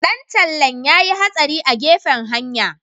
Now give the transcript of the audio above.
Dan tallen ya yi hatsari a gefen hanya.